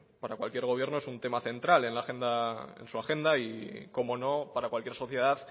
para cualquier gobierno es un tema central en su agenda y cómo no para cualquier sociedad